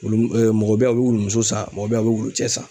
Wulu mɔgɔ bɛ ye a bɛ wulumuso san mɔgɔ bɛ ye a bɛ wulucɛ san.